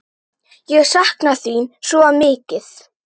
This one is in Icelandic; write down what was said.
Ég sakna þín svo mikið.